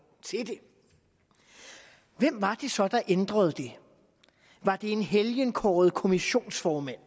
til det hvem var det så der ændrede det var det en helgenkåret kommissionsformand